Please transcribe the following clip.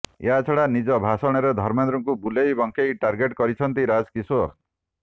ଏହାଛଡା ନିଜ ଭାଷଣରେ ଧର୍ମେନ୍ଦ୍ରଙ୍କୁ ବୁଲେଇ ବଙ୍କେଇ ଟାର୍ଗେଟ କରିଛନ୍ତି ରାଜକିଶୋର